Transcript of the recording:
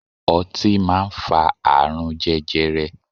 Ọtí máa ń fa àrùn jẹjẹrẹ.